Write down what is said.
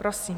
Prosím.